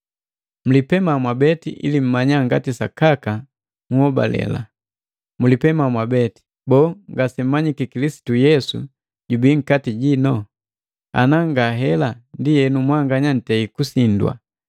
Mlipema mwabeti ili mmanya ngati sakaka nnhobalela. Mulipema mwabeti. Boo, ngasemmanyiki Kilisitu Yesu jubii nkati jino? Ana ngahela, ndienu mwanganya ntei kusindwa.